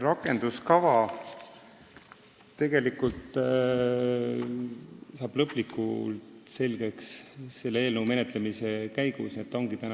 Rakenduskava saab lõplikult selgeks selle eelnõu menetlemise käigus, praegu on ta üldine.